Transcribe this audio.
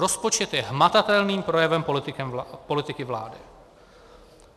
Rozpočet je hmatatelným projevem politiky vlády.